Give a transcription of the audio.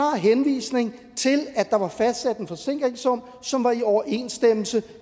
henvisning til at der var fastsat en forsikringssum som var i overensstemmelse